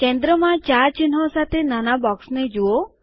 કેન્દ્રમાં ચાર ચિહ્નો સાથે નાના બોક્સને જુઓ